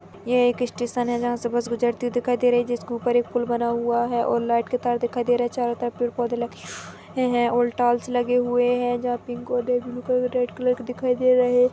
ये एक स्टेशन है जहाँ से बस गुजरती हुई दिखाई दे रही है जिसके ऊपर एक पूल बना हुआ है और लाइट के तार दिखाई दे रहे है चारों तरफ पेड़ -पौधे लगे हुए है ऑल टाइल्स लगे हुए है जहाँ पिंक और red blue colour red colour के दिखाई दे रहे --